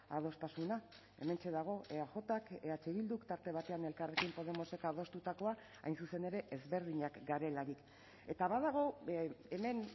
adostasuna hementxe dago eajk eh bilduk tarte batean elkarrekin podemosek adostutakoa hain zuzen ere ezberdinak garelarik eta badago hemen